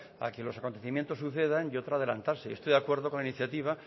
a que los acontecimientos sucedan y otro adelantarse yo estoy de acuerdo con la iniciativa